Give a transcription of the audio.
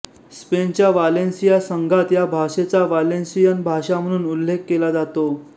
स्पेनच्या वालेन्सिया संघात या भाषेचा वालेन्सियन भाषा म्हणून उल्लेख केला जातो